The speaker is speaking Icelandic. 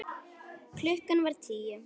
Klukkan var tíu.